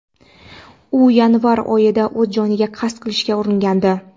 u yanvar oyida o‘z joniga qasd qilishga uringandi.